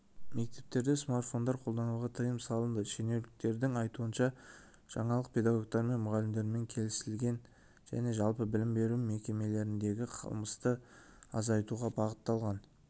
мектептерде смартфондар қолдануға тыйым салынды шенеуніктердің айтуынша жаңалық педагогтармен және мұғалімдермен келісілген және жалпы білім беру мекемелеріндегі қылмысты азайтуға бағытталған